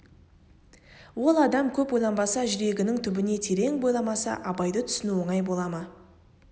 ол адам көп ойланбаса жүрегінің түбіне терең бойламаса абайды түсіну оңай бола ма